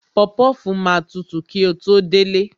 Popofu máa tutù kí ó tó délé